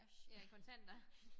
Ja i kontanter